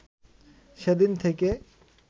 সেদিন থেকে